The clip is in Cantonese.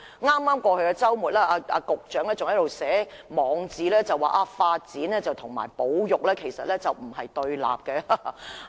在剛過去的周末，局長還在其網誌表示發展與保育其實並不對立。